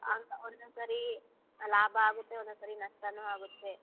ಹಂಗಾ ಒನ್ನೊಂದ್ಸರಿ ಲಾಭ ಆಗತ್ತೆ ಒನ್ನೊಂದ್ಸರಿ ನಷ್ಟನು ಆಗತ್ತೆ.